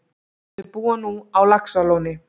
Þau búa nú á Laxalóni.